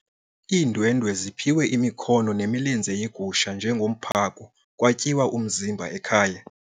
Iindwendwe ziphiwe imikhono nemilenze yegusha njengomphako kwatyiwa umzimba ekhaya.